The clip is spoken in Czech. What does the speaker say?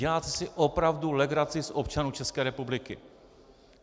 Děláte si opravdu legraci z občanů České republiky.